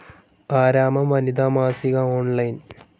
ആരാമം വനിതാ മാസിക ഓൺലൈൻ